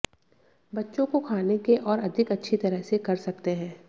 बच्चों को खाने के और अधिक अच्छी तरह से कर सकते हैं